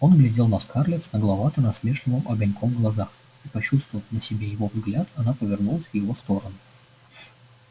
он глядел на скарлетт с нагловато-насмешливым огоньком в глазах и почувствовав на себе его взгляд она повернулась в его сторону